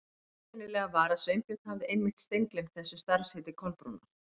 Það einkennilega var að Sveinbjörn hafði einmitt steingleymt þessu starfsheiti Kolbrúnar.